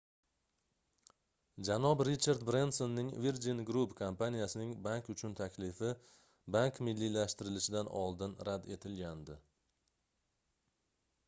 janob richard brensonning virgin group kompaniyasining bank uchun taklifi bank milliylashtirilishidan oldin rad etilgandi